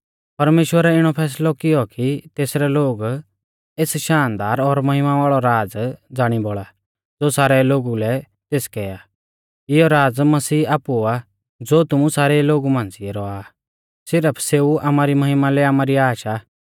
परमेश्‍वरै इणौ फैसलौ कियौ कि तेसरै लोग एस शानदार और महिमा वाल़ौ राज़ ज़ाणी बौल़ा ज़ो सारै लोगु लै तेसकै आ इयौ राज़ मसीह आपु आ ज़ो तुमु सारेऊ लोगु मांझ़िऐरौआ आ सिरफ सेऊ आमारी महिमा लै आमारी आश आ